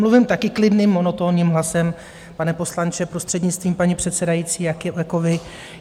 Mluvím také klidným, monotónním hlasem, pane poslanče, prostřednictvím paní předsedající, jako vy.